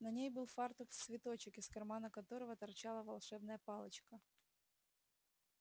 на ней был фартук в цветочек из кармана которого торчала волшебная палочка